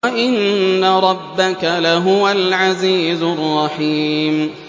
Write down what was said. وَإِنَّ رَبَّكَ لَهُوَ الْعَزِيزُ الرَّحِيمُ